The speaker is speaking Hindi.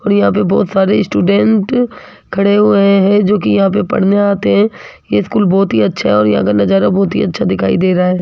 और यहां पे बहुत सारे स्टूडेंट खड़े हुए हैं जोकि यहां पे पढ़ने आते हैं ये स्कूल बहुत ही अच्छा और यहां का नजारा बहुत ही अच्छा दिखाई दे रहा है।